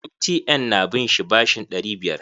MTN na bin shi bashin ɗari biyar.